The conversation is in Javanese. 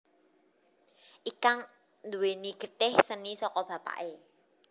Ikang nduwèni getih seni saka bapaké